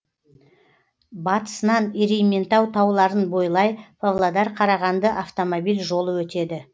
батысынан ерейментау тауларын бойлай павлодар қарағанды автомобиль жолы өтеді